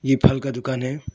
ये फल का दुकान है।